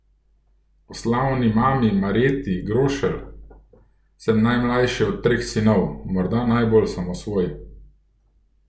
O slavni mami Marjeti Grošelj: 'Sem najmlajši od treh sinov, morda najbolj samosvoj.